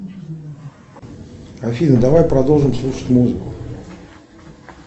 афина давай продолжим слушать музыку